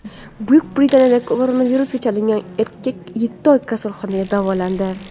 Buyuk Britaniyada koronavirusga chalingan erkak yetti oy kasalxonada davolandi.